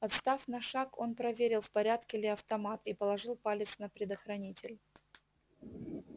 отстав на шаг он проверил в порядке ли автомат и положил палец на предохранитель